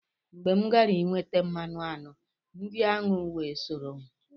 Mgbe m gara inweta mmanụ aṅụ, ndị aṅụ wee soro m.